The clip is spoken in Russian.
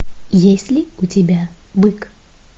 есть ли у тебя бык